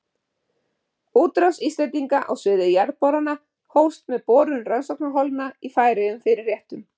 Útrás Íslendinga á sviði jarðborana hófst með borun rannsóknarholna í Færeyjum fyrir réttum